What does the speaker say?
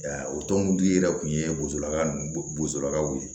o tɔntigi yɛrɛ tun ye bosola bosolakaw ye